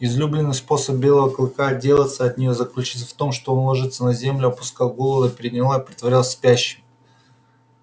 излюбленный способ белого клыка отделаться от нее заключался в том что он ложился на землю опускал голову на передние лапы и притворялся спящим